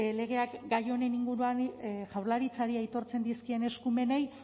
legeak gai honen inguruan jaurlaritzari aitortzen dizkien eskumenei